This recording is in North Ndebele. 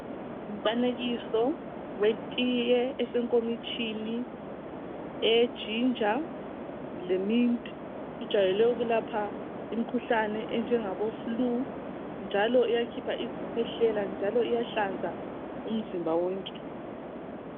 Ngumfanekiso wetiye esekomitshini eye ginger le mint ijayele ukulapha imikhuhlane enjengabo flue njalo iyakhipha izikhwehlela njalo iyahlanza umzimba wonke